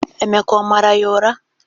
Emeka ọ mara ya ura?